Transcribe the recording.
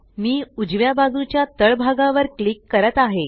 मी उजव्या बाजूच्या तळ भागावर क्लिक करत आहे